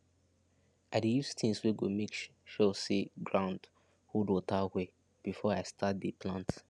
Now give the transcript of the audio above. i dey use things wey go make sure say ground hold water well before i start dey plant